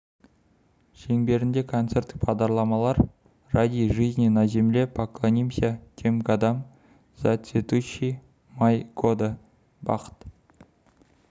шеңберінде концерттік бағдарламалар ради жизни на земле поклонимся тем годам за цветущий май года бақыт